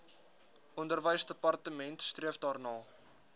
onderwysdepartement streef daarna